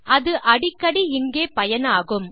அது அடிக்கடி இங்கே பயனாகும்